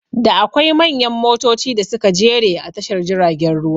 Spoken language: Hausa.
Da akwai manyan motoci da suka jere a tashar jiragen ruwa